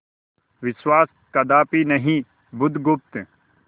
विश्वास कदापि नहीं बुधगुप्त